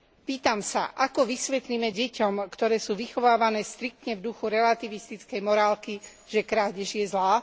Pýtam sa, ako vysvetlíme deťom, ktoré sú vychovávané striktne v duchu relativistickej morálky, že krádež je zlá?